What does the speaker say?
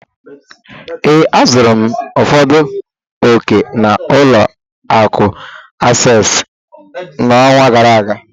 Ee, azụrụ m ụfọdụ ọ̀kè na ụlọ akụ asesịị n'ọnwa gara aga.